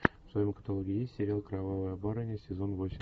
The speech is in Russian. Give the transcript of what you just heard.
в твоем каталоге есть сериал кровавая барыня сезон восемь